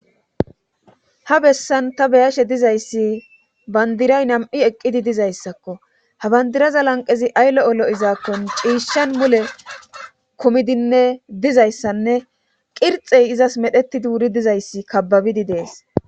Ha bessan ta beyashe dizayssi bandiray nam7i eqqidi dizayssakko habandiraza lanqezi ayllo olo izaakkon ciishshan mule kumidinne dizayssanne qirxey izas medheti duuri dizayssi kababidi dees